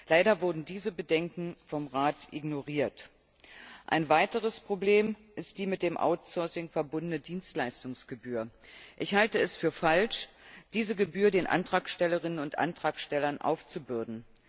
Leider wurden diese Bedenken vom Rat ignoriert. Ein weiteres Problem ist die mit dem outsourcing verbundene Dienstleistungsgebühr. Ich halte es für falsch, diese Gebühr den Antragstellerinnen und Antragstellern aufzubürden.